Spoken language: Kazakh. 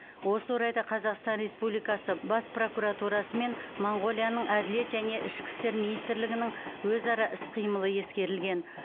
осы орайда қазақстан республикасы бас прокуратурасы мен моңғолияның әділет және ішкі істер министрлігінің өзара іс қимылы ескерілген